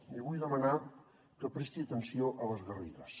li vull demanar que presti atenció a les garrigues